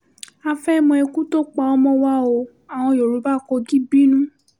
a fẹ́ẹ́ mọ ikú tó pa ọmọ wa ọ́ àwọn yoruba kọ́gí bínú